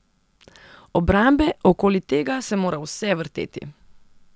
Obrambe, okoli tega se mora vse vrteti.